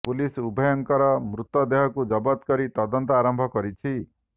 police ଉଭୟଙ୍କର ମୃତ ଦେହକୁ ଜବତ କରି ତଦନ୍ତ ଆରମ୍ଭ କରିଛି